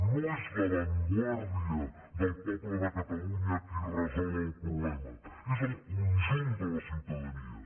no és l’avantguarda del poble de catalunya qui resol el problema és el conjunt de la ciutadania